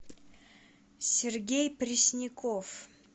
сергей пресняков